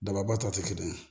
Dababa ta tɛ kelen ye